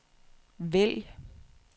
vælg